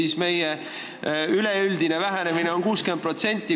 Seega on üleüldine vähenemine ju 60%.